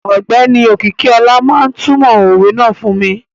Ọgbẹni Okikiola ma tumo owè náà fun mi.